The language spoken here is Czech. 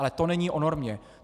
Ale to není o normě.